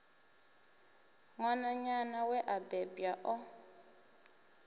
ṅwananyana we a bebwa o